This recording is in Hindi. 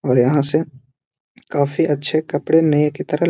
और यहाँ से काफ़ी अच्छे कपड़े नए के तरह --